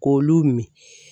K'olu min.